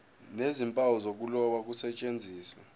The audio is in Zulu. nezimpawu zokuloba kusetshenziswe